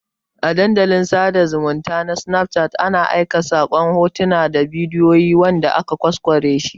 A Dandalin sada zumunta na snapchat ana aika sakon hotuna da bidiyoyi wanda aka ƘwasƘware shi